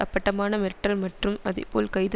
அப்பட்டமான மிரட்டல் மற்றும் அதேபோல கைது